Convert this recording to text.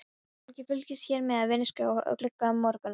Fólk fylgist hér með vinningaskrá í glugga Morgunblaðsins.